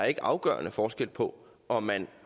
er afgørende forskel på om man